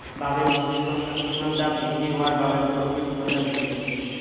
বাবে উষ্ণতা বৃদ্ধি হোৱাৰ বাবে গোলকীয় উষ্ণতা বৃদ্ধি পাইছে